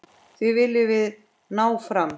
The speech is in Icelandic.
Því viljum við ná fram.